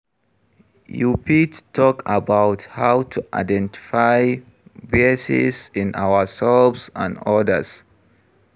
You fit talk about how to identify biases in ourselves and odas.